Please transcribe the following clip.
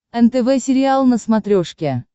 нтв сериал на смотрешке